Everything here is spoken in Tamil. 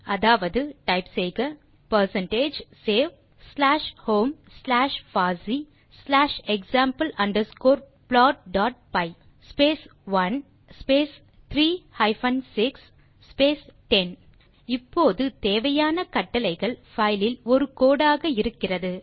அதாவது டைப் செய்க percentage save slash home slash fossee slash example underscore plot dot py space 1 space 3 hyphen 6 space 10 இப்போது தேவையான கட்டளைகள் பைலில் ஒரு கோடு ஆக இருக்கிறது